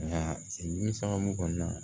Nka dimi sababu kɔnɔna